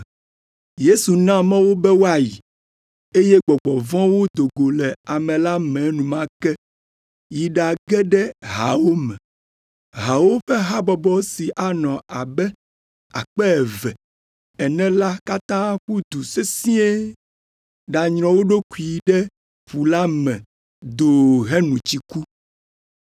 Yesu na mɔ wo be woayi, eye gbɔgbɔ vɔ̃wo do go le ame la me enumake yi ɖage ɖe haawo me. Haawo ƒe habɔbɔ si anɔ abe akpe eve (2,000) ene la katã ƒu du sesĩe ɖanyrɔ wo ɖokuiwo ɖe ƒu la me doo heno tsi ku.